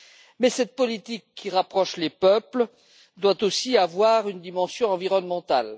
Mais cette politique qui rapproche les peuples doit aussi avoir une dimension environnementale.